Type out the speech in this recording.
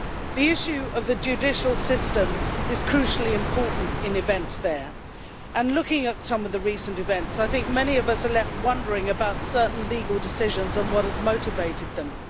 The issue of the judicial system is crucially important in events there and, looking at some of the recent events, many of us are left wondering about certain legal decisions and what has motivated them.